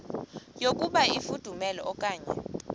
yokuba ifudumele okanye